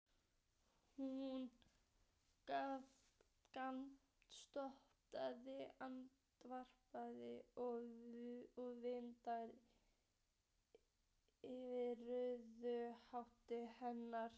Hún grandskoðaði armbandið og vindurinn lyfti rauðu hári hennar.